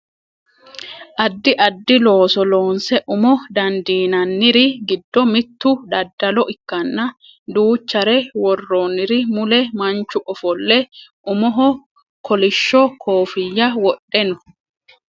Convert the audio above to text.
addi addi looso loonse umo dandiinanniri giddo mittu daddalo ikkanna duuchare worroonniri mule manchu ofolle umoho kolishsho kooffinya wodhe no